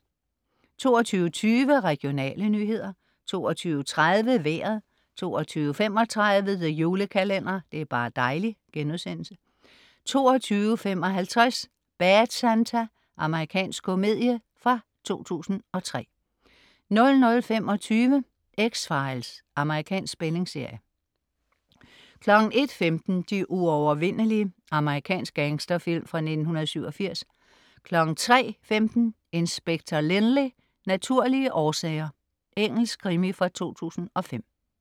22.20 Regionale nyheder 22.30 Vejret 22.35 The Julekalender. Det er bar' dejli' * 22.55 Bad Santa. Amerikansk komedie fra 2003 00.25 X-Files. Amerikansk spændingsserie 01.15 De uovervindelige. Amerikansk gangsterfilm fra 1987 03.15 Inspector Lynley - naturlige årsager. Engelsk krimi fra 2005